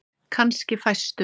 Kannski fæstum.